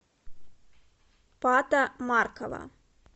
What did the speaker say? пата маркова